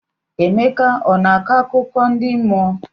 Emeka ọ na-akọ akụkọ ndị mmụọ?